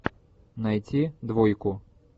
найти двойку